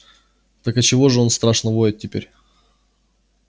так отчего же он страшно воет теперь